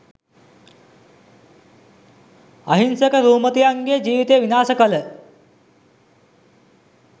අහිංසක රූමතියන්ගේ ජීවිත විනාශ කළ